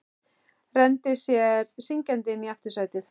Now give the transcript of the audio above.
Rennir sér syngjandi inn í aftursætið.